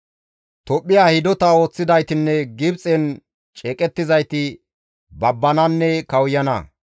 Tophphiya hidota ooththidaytinne Gibxen ceeqettizayti babbananne kawuyana.